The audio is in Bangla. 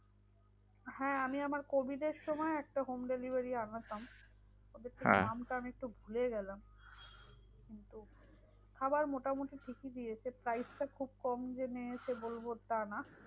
হ্যাঁ আমি আমার covid এর সময় একটা home delivery আনাতাম নামটা আমি একটু ভুলে গেলাম। খাবার মোটামুটি ঠিকই দিয়েছে price টা খুব কম যে নিয়েছে বলবো তা না।